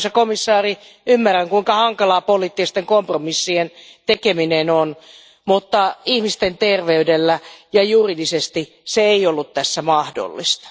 Arvoisa komissaari, ymmärrän kuinka hankalaa poliittisten kompromissien tekeminen on, mutta ihmisten terveydellä ja juridisesti se ei ollut tässä mahdollista.